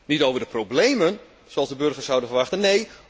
Niet over de problemen, zoals de burgers zouden verwachten.